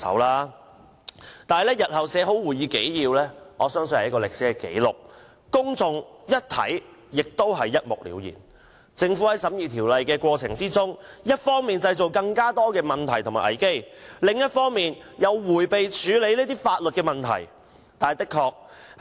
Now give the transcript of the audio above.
可是，日後當會議紀要備妥後，我相信它是一份歷史紀錄，讓公眾一目了然，得知政府在審議《條例草案》的過程中，一方面製造更多問題和危機，另一方面又迴避處理法律問題。